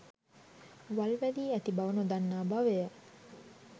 වල් වැදී ඇති බව නොදන්නා බවය